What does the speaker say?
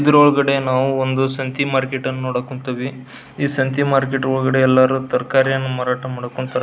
ಇದರ ಒಳಗಡೆ ನಾವು ಸಂತೆ ಮಾರ್ಕೆಟ್ ಅನ್ನ ನೋಡಕ್ ಹೊಂಟಿವಿ ಈ ಸಂತೆ ಮಾರ್ಕೆಟ್ ಒಳಗಡೆ ಎಲ್ಲರು ತರಕಾರಿಯನ್ನ ಮಾರಾಟ ಮಾಡೋಕುಂತಾರ.